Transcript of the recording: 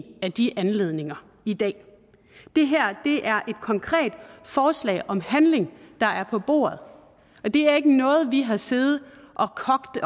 af de anledninger i dag det her er et konkret forslag om handling der er på bordet og det er ikke noget vi har siddet og kogt